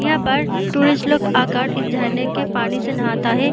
यहाँ पर टूरिस्ट लोग आकर इस झरने के पानी से नहाता है ।